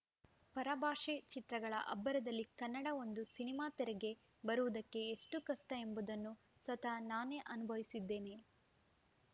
ಪರಭಾಷೆ ಚಿತ್ರಗಳ ಅಬ್ಬರದಲ್ಲಿ ಕನ್ನಡ ಒಂದು ಸಿನಿಮಾ ತೆರೆಗೆ ಬರುವುದಕ್ಕೆ ಎಷ್ಟುಕಷ್ಟಎಂಬುದನ್ನು ಸ್ವತಃ ನಾನೇ ಅನುಭವಿಸಿದ್ದೇನೆ